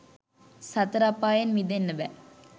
සතර අපායෙන් මිදෙන්න බෑ.